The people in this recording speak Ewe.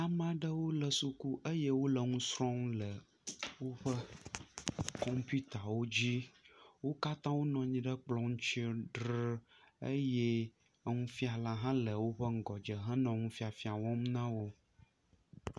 Ame aɖewo le suku eye wole nusrɔm le woƒe kɔmpuitawo dzi wo katã wonɔ anyi ɖe kplɔ ŋti ree eye nufiala le woƒe ŋgɔdze henɔ nufiafia wɔm nawo